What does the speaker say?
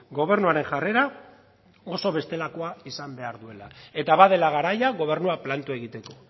gobernuaren jarrera oso bestelakoa izan behar duela eta badela garaia gobernua planto egiteko